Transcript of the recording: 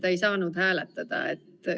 Ta ei saanud hääletada.